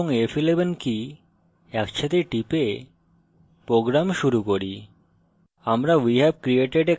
এখন control এবং f11 key একসাথে টিপে program শুরু করি